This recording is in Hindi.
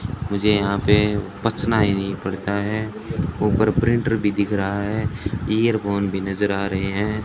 मुझे यहां पे पचना ही नहीं पड़ता है ऊपर प्रिंटर भी दिख रहा है इयरफोन भी नज़र आ रहे है।